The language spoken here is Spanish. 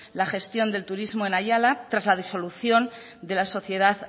la gestión del turismo en ayala tras la disolución de la sociedad